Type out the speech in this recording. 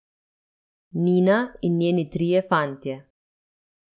Nina in njeni trije fantje.